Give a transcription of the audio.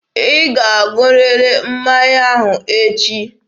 Ị ga-aṅụrịrị mmanya ahụ echi!